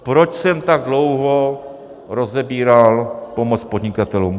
Proč jsem tak dlouho rozebíral pomoc podnikatelům?